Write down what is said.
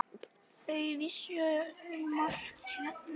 Þau vissu um allt hérna.